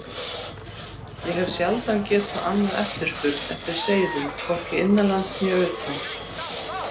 Ég hef sjaldan getað annað eftirspurn eftir seiðum, hvorki innanlands né utan.